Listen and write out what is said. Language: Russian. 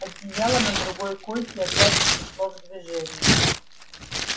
одеяло на другой койке опять пришло в движение